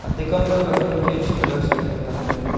dekam dho ke khanyak cha che tega cycle tam le le.